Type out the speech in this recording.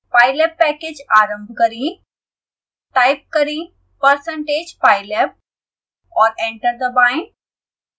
pylab package आरंभ करें